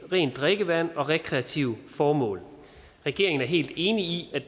rent drikkevand og rekreative formål regeringen er helt enig i at